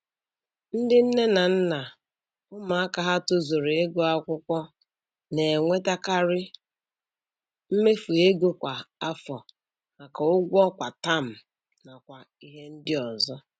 Ndị nne na nna ụmụaka ha tozuru ịgụ akwụkwọ na-enwetekari mmefu ego kwa afọ maka ụgwọ kwa taam nakwa ihe ndị ọzọ